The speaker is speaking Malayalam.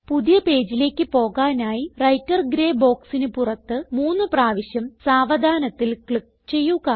പുതിയ പേജിലേക്ക് പോകാനായി വ്രൈട്ടർ ഗ്രേ ബോക്സിന് പുറത്ത് മൂന്ന് പ്രാവശ്യം സാവധാനത്തിൽ ക്ലിക്ക് ചെയ്യുക